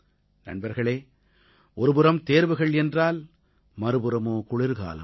நண்பர்களே ஒருபுறம் தேர்வுகள் என்றால் மறுபுறமோ குளிர்காலம்